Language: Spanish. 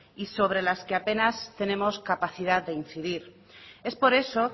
y sobre las que apenas tenemos capacidad de incidir es por eso